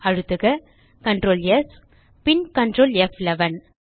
அழுத்துக Ctrl ஸ் பின் Ctrl ப்11